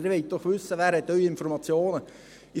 – Sie wollen doch wissen, wer Ihre Informationen hat.